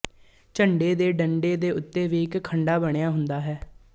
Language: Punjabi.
ਝੰਡੇ ਦੇ ਡੰਡੇ ਦੇ ਉੱਤੇ ਵੀ ਇੱਕ ਖੰਡਾ ਬਣਿਆ ਹੁੰਦਾ ਹੈ